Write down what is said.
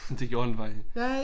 Det gjorde den faktisk